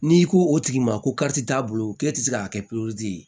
N'i ko o tigi ma ko kariti t'a bolo k'e tɛ se k'a kɛ